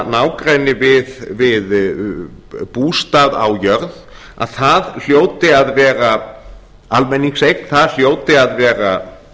nágrenni við bústað á jörð að það hljóti að vera almenningseign það hljóti að vera